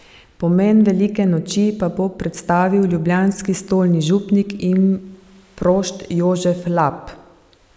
Pomen velike noči pa bo predstavil ljubljanski stolni župnik in prošt Jožef Lap.